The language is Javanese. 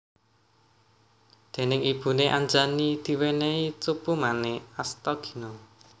Déning ibune Anjani diwènèhi Cupumanik Astagina